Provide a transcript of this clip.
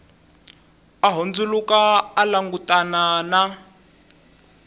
a hundzuluka a langutana na